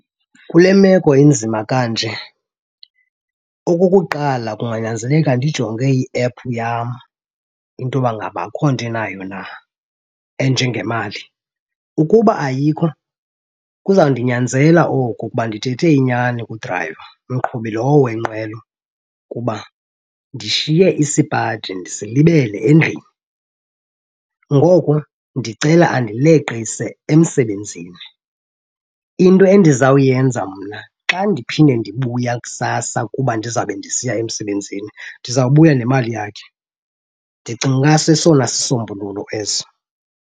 Kule meko inzima kanje okukuqala kunganyanzeleka ndijonge iephu yam into yoba ngaba akho nto inayo na enjengemali. Ukuba ayikho, kuzawundinyanzela oku ukuba ndithethe inyani kudrayiva, umqhubi lowo wenqwelo, kuba ndishiye isipaji ndisilibele endlini, ngoko ndicela andileqise emsebenzini. Into endizawuyenza mna xa ndiphinde ndibuya kusasa kuba ndizawube ndisiya emsebenzini ndizawubuya nemali yakhe. Ndicinga uba sesona sisombululo eso.